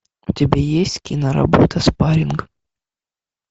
у тебя есть киноработа спарринг